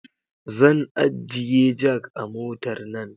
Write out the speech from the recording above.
Zan ajjiye jak a mota nan